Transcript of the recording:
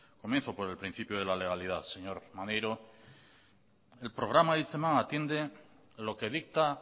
comienzo por el principio de la legalidad señor maneiro el programa hitzeman atiende lo que dicta